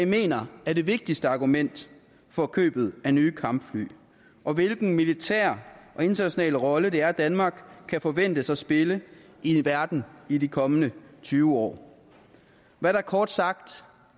mener er det vigtigste argument for købet af nye kampfly og hvilken militær og international rolle det er danmark kan forventes at spille i verden i de kommende tyve år hvad det kort sagt